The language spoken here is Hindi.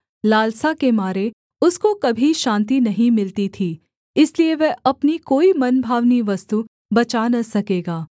लालसा के मारे उसको कभी शान्ति नहीं मिलती थी इसलिए वह अपनी कोई मनभावनी वस्तु बचा न सकेगा